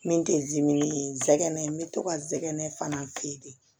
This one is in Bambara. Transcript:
Min tɛ dimi ye n sɛgɛn n bɛ to ka n sɛgɛnɛ fana